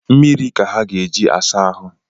Mmiri ka ha ga-eji asa ahụ